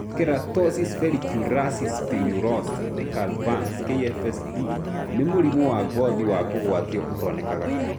Keratosis follicularis spinulosa decalvans (KFSD) nĩ mũrimũ wa ngothi wa kũgũatio ũtonekaga kaĩngi.